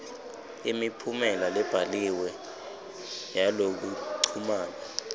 imiphumela lebhaliwe yalokuchumana